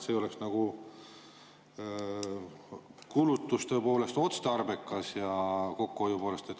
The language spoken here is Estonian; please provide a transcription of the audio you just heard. See oleks nagu kulutuste poolest otstarbekas ja kokkuhoiu poolest ka.